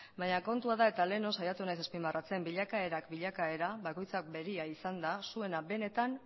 baina kontua da eta lehenago saiatu naiz azpimarratzen bilakaerak bilakaera bakoitzak berea izan da zuena